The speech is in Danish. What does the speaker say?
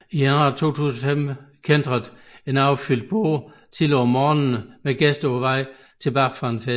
I januar 2005 kæntrede en overfyldt båd tidligt om morgenen med gæster på vej tilbage fra fest